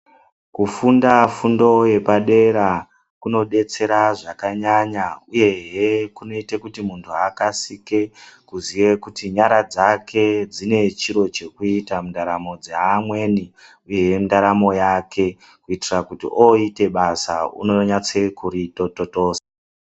Kufunda fundo yepadera kunodetsera zvakanyanya uyehe kunoita kuti muntu akasike kuziya kuti nyara dzake dzine chiro chekuita mundaramo dzeamweni uyehe ndaramo yake kuitira oite basa unonyatso kurototoza.